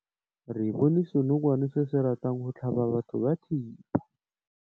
Re bone senokwane se se ratang go tlhaba batho ka thipa.